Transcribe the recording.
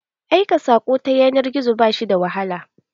Aika saƙo ta yanar gizo ba shi da wahala.